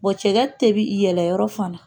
Bon cɛkɛ tɛ bi yɛlɛ yɔrɔ fana